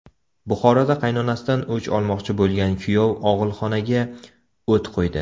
Buxoroda qaynanasidan o‘ch olmoqchi bo‘lgan kuyov og‘ilxonaga o‘t qo‘ydi.